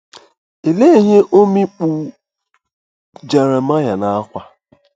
Olee ihe ọ mikpu’ Jeremaya n’ákwà?